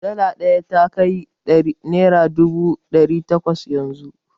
Dala ɗaya ya kai naira dubu ɗari takwas yanzu.